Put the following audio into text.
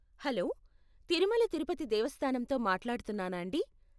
Hello, Tirumala Tirupati దేవస్థానంతో మాట్లాడుతున్నానాండీ?